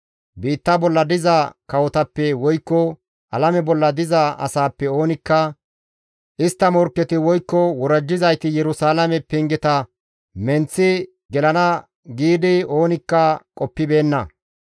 Biitta bolla diza kawotappe woykko alame bolla diza asaappe oonikka istta morkketi woykko worajjizayti Yerusalaame pengeta menththi gelana giidi oonikka qoppibeenna.